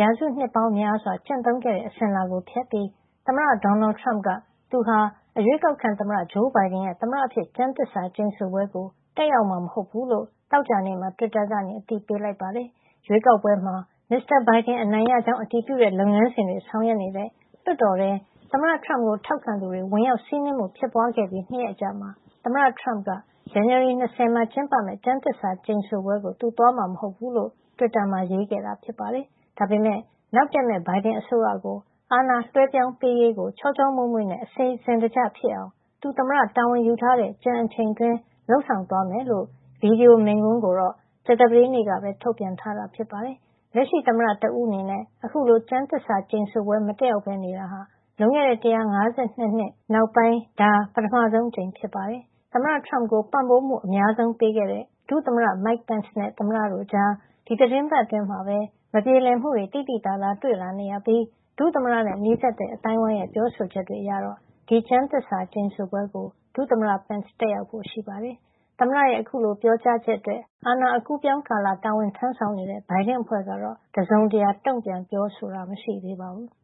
ရာစုနှစ်ပေါင်းများစွာ ကျင့်သုံးခဲ့ တဲ့ အစဉ်အလာကို ဖျက်ပြီး သမ္မတ ဒေါ်နယ်ထရမ့်က သူဟာ အရွေးကောက်ခံသမ္မတ ဂျိုးဘိုင်ဒန်ရဲ့ သမ္မတအဖြစ် ကျမ်းသစ္စာကျိန်ဆိုတဲ့ ပွဲကို တက်ရောက်မှာ မဟုတ်ဖူးလို့ သောကြာနေ့မှာ တွစ်တာကနေ အသိပေးလိုက်ပါတယ်။ ရွေးကောက်ပွဲမှာ မစ္စတာဘိုင်ဒန် အနိုင်ရကြောင်း အတည်ပြုတဲ့ လုပ်ငန်းစဉ်တွေ ဆောင်ရွက်နေတဲ့ လွှတ်တော်ထဲ သမ္မတထရမ့်ကို ထောက်ခံသူတွေ ဝင်ရောက်စီးနင်းမှု ဖြစ်ပွါးခဲ့ပြီး ၂ ရက်အကြာမှာ သမ္မတထရမ့်က ဇန်နဝါရီ ၂၀ မှာ ကျင်းပမယ့် ကျမ်းသစ္စာကျိန်ဆိုပွဲကို သူသွားမှာ မဟုတ်ဘူးလို့ တွစ်တာမှာ ရေးခဲ့တာ ဖြစ်ပါတယ်။ ဒါပေမယ့် နောက်တက်မယ့် ဘိုင်ဒန်အစိုးရကို အာဏာလွှဲပြောင်းပေးရေးကို ချောချောမွေ့မွေ့နဲ့ အစီစဉ်တကျဖြစ်အောင် သူသမ္မတတာဝန်ယူထားတဲ့ ကျန်အချိန်အတွင်းမှာ လုပ်ဆောင်သွားမယ်ဆိုတဲ့ ဗွီဒီယိုမိန့်ခွန်းကိုတော့ ကြာသာပတေးနေ့ကပဲ ထုတ်ပြန်ထားတာ ဖြစ်ပါတယ်။ လက်ရှိသမ္မတ တဦးအနေနဲ့ အခုလို ကျမ်းသစ္စာကျိန်ဆိုပွဲ မတက်ရောက်ပဲ နေတာဟာ လွန်ခဲ့တဲ့ ၁၅၂ နှစ်နောက်ပိုင်း ဒါပထမဆုံး အကြိမ်ဖြစ်ပါတယ်။ အဲဒီအချိန်က သမ္မတ Andrew Johnson က မတက်ရောက်ခဲ့ပါဘူး။ သမ္မတထရမ့်ကို ပံ့ပိုးမှုအများဆုံး ပေးခဲ့တဲ့ ဒုသမ္မတ Mike Pence နဲ့ သမ္မတတို့ကြား ဒီသီတင်းပတ်အတွင်းမှာပဲ မပြေလည်မှုတွေ သိသိသာသာ တွေ့လာနေရပြီး ဒုသမ္မတနဲ့ နီးစပ်တဲ့ အသိုင်းဝိုင်းရဲ့ ပြောဆိုချက်တွေအရ ဒီကျမ်းသစ္စာကျိန်ဆိုပွဲကို ဒုသမ္မတ Pence တက်ရောက်ဖို့ရှိပါတယ်။ သမ္မတရဲ့ အခုလို ပြောကြားချက်အတွက် အာဏာအကူးအပြောင်းကာလ တာဝန်ထမ်းဆောင်နေတဲ့ ဘိုင်ဒန်အဖွဲ့ကတော့ တစုံတရာ တုန့်ပြန် ပြောဆိုတာ မရှိသေးပါဘူး။